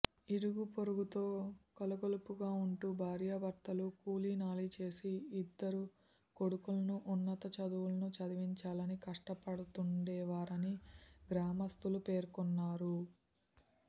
ఇరుగుపొరుగుతో కలగొలుపుగా ఉంటు భార్యభర్తలు కూలీనాలి చేసి ఇద్దరు కొడుకులను ఉన్నత చదువులను చదివించాలని కష్టపడుతుండేవారని గ్రామస్థులు పేర్కొన్నారు